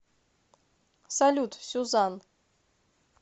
салют сюзан